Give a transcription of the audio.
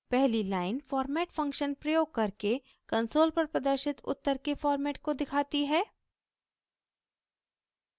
पहली line format function प्रयोग करके कंसोल पर प्रदर्शित उत्तर के फॉर्मेट को दिखाती है